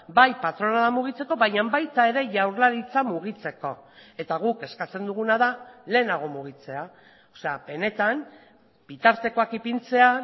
bai patronala mugitzeko baina baita ere jaurlaritza mugitzeko eta guk eskatzen duguna da lehenago mugitzea benetan bitartekoak ipintzea